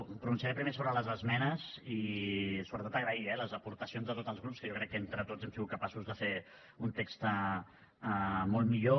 em pronunciaré primer sobre les esmenes i sobretot agrair eh les aportacions de tots els grups que jo crec que entre tots hem sigut capaços de fer un text molt millor